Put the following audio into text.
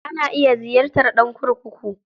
Ana iya ziyarta ɗan kurkuku.